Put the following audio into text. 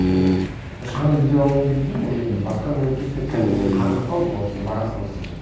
өйткені мен шығынымды өтей алмайын деп тұрмын ғой мен басқа мемлекетте кәдімгідей қаңғырып қалдым ол жерде бара салысымен